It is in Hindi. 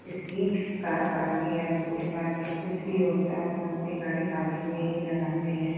इसलिए कार पार्किंग या स्कूटी पार्किंग कुछ भी होता है तो हम अपनी गाड़ी पार्किंग में ही लगाते हैं।